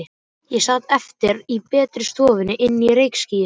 Ég sat eftir í betri stofunni inni í reykjarskýi.